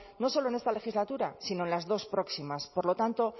no solo en esta legislatura sino en las dos próximas por lo tanto